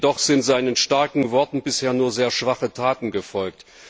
Jedoch sind seinen starken Worten bisher nur sehr schwache Taten gefolgt.